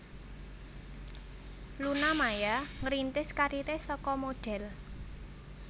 Luna Maya ngrintis kariré saka modhél